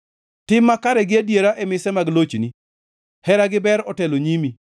Tim makare gi adiera e mise mag lochni; hera gi ber otelo e nyimi.